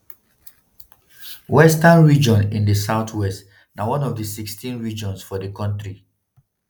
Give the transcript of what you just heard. western region in di south-west na one of di 16 regions for di kontri.